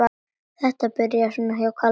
Þetta byrjaði svona hjá Kalla.